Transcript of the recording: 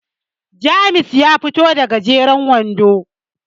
James ya fito da gajeren wando